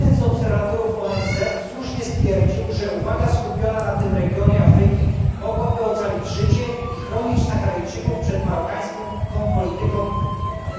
Jeden z obserwatorów ONZ słusznie stwierdził, że uwaga skupiona na tym regionie Afryki mogłaby ocalić życie i chronić Saharyjczyków przed marokańską polityką